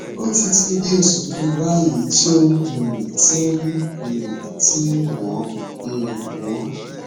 ó ti tó oṣù kan báyìí tó um ti ń um ti ń wọ um wọn